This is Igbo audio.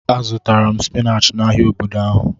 A zụtara m spinach n'ahia obodo ahụ.